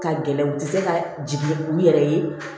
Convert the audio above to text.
Ka gɛlɛn u ti se ka jigin u yɛrɛ ye